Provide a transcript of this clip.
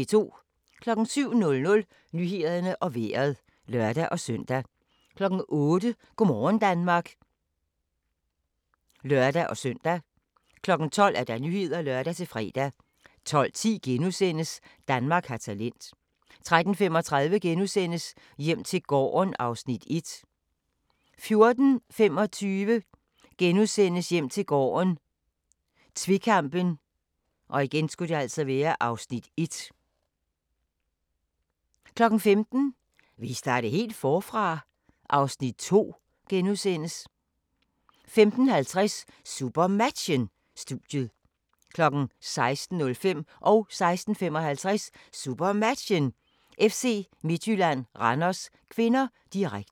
07:00: Nyhederne og Vejret (lør-søn) 08:00: Go' morgen Danmark (lør-søn) 12:00: Nyhederne (lør-fre) 12:10: Danmark har talent * 13:35: Hjem til gården (Afs. 1)* 14:25: Hjem til gården - tvekampen (Afs. 1)* 15:00: Vil I starte helt forfra? (Afs. 2)* 15:50: SuperMatchen: Studiet 16:05: SuperMatchen: FC Midtjylland-Randers (k), direkte 16:55: SuperMatchen: FC Midtjylland-Randers (k), direkte